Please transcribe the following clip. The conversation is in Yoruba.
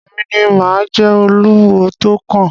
Èmi ni mà á jẹ oluwo tó kàn.